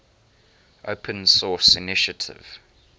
open source initiative